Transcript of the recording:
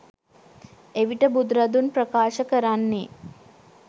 එවිට බුදුරදුන් ප්‍රකාශ කරන්නේ